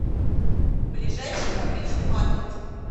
ближайший фабричный маркет